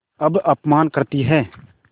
अब अपमान करतीं हैं